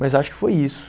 Mas acho que foi isso.